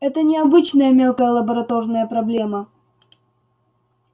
это не обычная мелкая лабораторная проблема